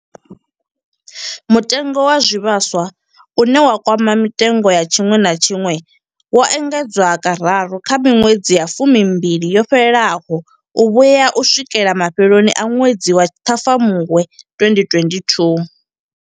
Mutengo wa zwivhaswa, une wa kwama mitengo ya tshiṅwe na tshiṅwe, wo engedzwa kararu kha miṅwedzi ya fumimbili yo fhelaho u vhuya u swikela mafheloni a ṅwedzi wa Ṱhafamuhwe 2022.